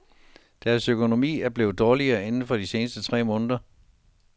Deres økonomi er blevet dårligere inden for de seneste tre måneder.